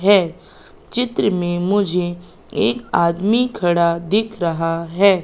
है चित्र में मुझे एक आदमी खड़ा दिख रहा है।